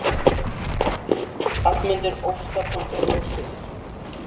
Hallmundur Óskarsson brosir.